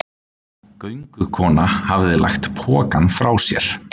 Göngukonan hafði lagt pokann frá sér.